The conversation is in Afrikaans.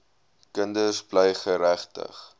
kinders bly geregtig